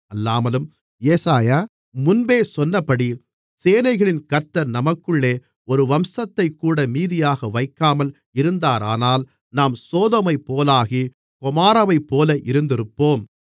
அல்லாமலும் ஏசாயா முன்பே சொன்னபடி சேனைகளின் கர்த்தர் நமக்குள்ளே ஒரு வம்சத்தைக்கூட மீதியாக வைக்காமல் இருந்தாரானால் நாம் சோதோமைப்போலாகி கொமோராவைப்போல இருந்திருப்போம்